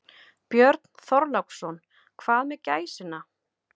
Björn Þorláksson: Hvað með gæsina?